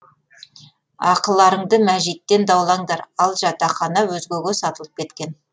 ақыларыңды мәжиттен даулаңдар ал жатақхана өзгеге сатылып кеткен